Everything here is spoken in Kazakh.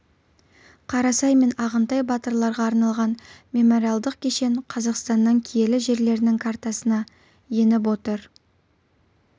қарасай мен ағынтай батырларға арналған мемориалдық кешен қазақстанның киелі жерлерінің картасына еніп отыр